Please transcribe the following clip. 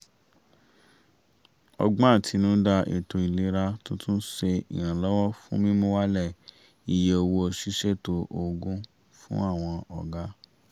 ọgbọ́n àtinúdá ètò ìlera tuntun ṣe ìrànwọ́ fún mímú wálẹ̀ iyé owó ṣíṣètò òògùn fún àwọn ọ̀gá